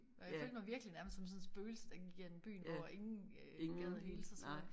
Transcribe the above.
Og jeg følte mig virkelig nærmest som sådan et spøgelse der gik gennem byen hvor ingen øh gad at hilse og sådan noget